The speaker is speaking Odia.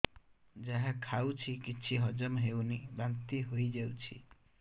ଯାହା ଖାଉଛି କିଛି ହଜମ ହେଉନି ବାନ୍ତି ହୋଇଯାଉଛି